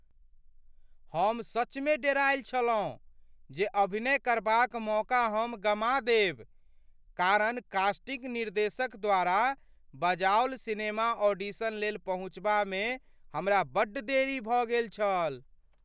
हम सचमे डेरायल छलहुँ जे अभिनय करबाक मौका हम गमा देब, कारण कास्टिंग निर्देशक द्वारा बजाओल सिनेमा ऑडिशन लेल पहुँचबामे हमरा बड्ड देरी भऽ गेल छल।